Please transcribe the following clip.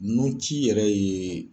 Nunci yɛrɛ ye.